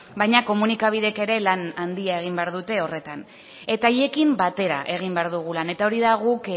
baina komunikabideek ere lan handia egin behar dute horretan eta haiekin batera egin behar dugu lan eta hori da guk